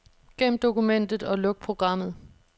Gem dokumentet og luk programmet.